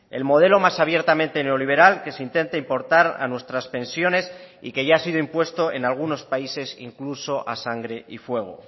el modelo más abiertamente neoliberal que se intenta importar a nuestras pensiones y que ya ha sido impuesto en algunos países incluso a sangre y fuego